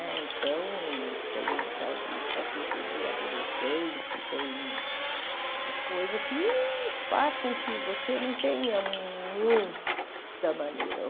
Né então, tem o tal de estatuto do adolescente, tem coisa que faz com que você não tenha muita maneira.